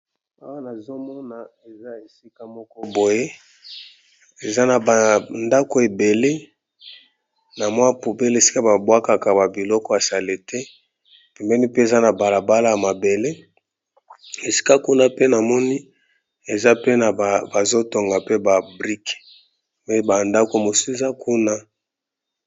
Awa namoni balakisi biso esika mokoboye eza na bandako ebele esika kuna pe namoni bazo sala ba brique